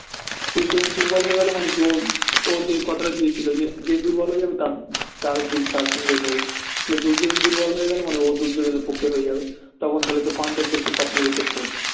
দুর্যোধন দুর্বল হয়ে গেলো মানে কি ও যে কথাটা দিয়েছিলো যে যে দুর্বল হয়ে যাবে আমি তার তার সঙ্গে লড়বো তাহলে দুর্যোধন দুর্বল হয়ে গেলো মানে ও দুর্যোধন এর পক্ষে হয়ে যাবে তখন তাহলে হচ্ছে পাণ্ডবদেরকে সব মেরে শেষ করে দেবে